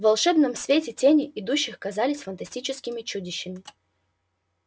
в волшебном свете тени идущих казались фантастическими чудищами